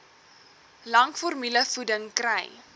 lank formulevoeding kry